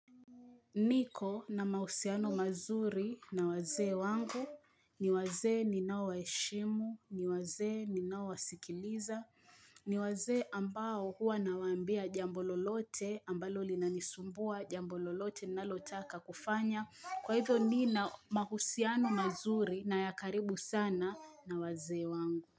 Niko na mahusiano mazuri na wazee wangu, ni wazee ninao waheshimu, ni wazee ninaowasikiliza, ni wazee ambao huwa nawaambia jambo lolote ambalo linanisumbua jambo lolote ninalotaka kufanya, kwa hivyo nina mahusiano mazuri na ya karibu sana na wazee wangu.